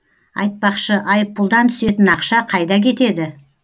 айтпақшы айыппұлдан түсетін ақша қайда кетеді